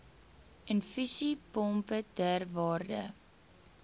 infusiepompe ter waarde